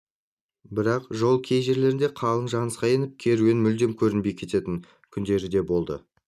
бірақ жол кей жерлерде қалың жынысқа еніп керуен мүлдем көрінбей кететін күндері де болды